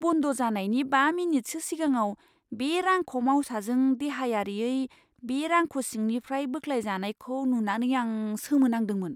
बन्द जानायनि बा मिनिटसो सिगाङाव बे रांख' मावसाजों देहायारियै बे रांख' सिंनिफ्राय बोख्लायजानायखौ नुनानै आं सोमोनांदोंमोन!